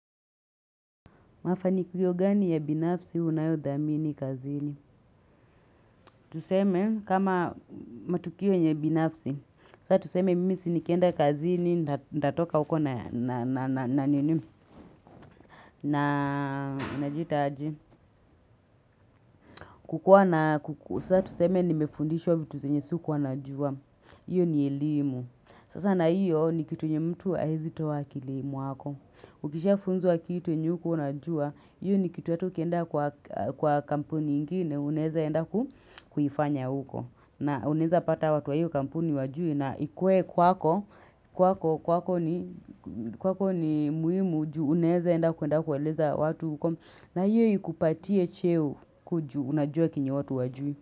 Mafani kio gani ya binafsi unayo dhamini kazini. Tuseme kama matukio yenye binafsi. Saa tuseme mimi sinikienda kazini ndatoka huko na nini na jita aji. Kukuwa na kukusa tuseme nimefundishwa vitu zenye siku wanajua. Iyo ni elimu. Sasa na iyo ni kitu yenye mtu haeizi toa akili muwako. Ukisha funzwa kitu yenye ukuwa unajua. Hiyo ni kitu ata ukienda kwa kampuni ingine unaeze enda ku kuifanya huko na unaweze pata watu hiyo kampuni hawajui na ikuwe kwako kwako kwako ni kwako ni muhimu juu unaeze enda kuenda kueleza watu huko na hiyo ikupatie cheo kuju unajua kenye watu hawajui.